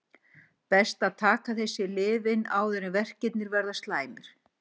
Best er að taka þessi lyf inn áður en verkir verða slæmir.